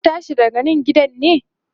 zaku tashi daga Nan gidan ne?